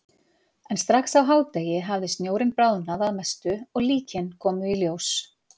En strax á hádegi hafði snjórinn bráðnað að mestu og líkin komu í ljós.